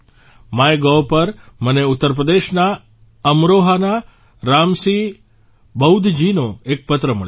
MyGov પર મને ઉત્તરપ્રદેશના અમરોહાના રામસિંહ બૌદ્ધજીનો એક પત્ર મળ્યો છે